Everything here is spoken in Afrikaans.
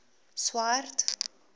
swart